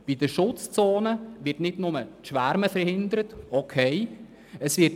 Bei den Schutzzonen wird nicht nur das Schwärmen verhindert, was an und für sich in Ordnung ist.